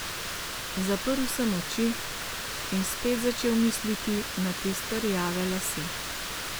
Zaprl sem oči in spet začel misliti na tiste rjave lase.